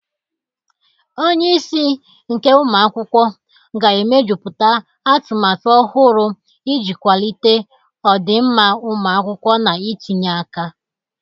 Onye isi nke ụmụ akwụkwọ ga-emejuputa atumatu ọhụrụ iji kwalite ọdịmma ụmụ akwụkwọ na itinye aka.